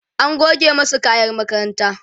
an goge masu kayan makaranta